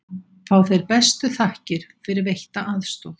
Fá þeir bestu þakkir fyrir veitta aðstoð.